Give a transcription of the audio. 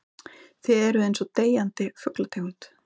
Þið eruð einsog deyjandi fuglategund.